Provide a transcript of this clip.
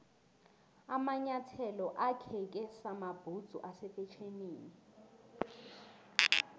amanyathelo akheke samabhudzu ase fetjhenini